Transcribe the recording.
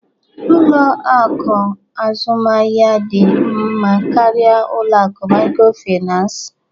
Ụlọ akụ azụmaahịa dị mma karịa ụlọ akụ microfinance?